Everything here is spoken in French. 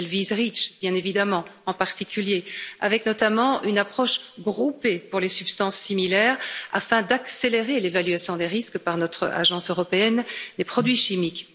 Elle vise REACH, bien évidemment, en particulier, avec notamment une approche groupée pour les substances similaires afin d'accélérer l'évaluation des risques par notre Agence européenne des produits chimiques.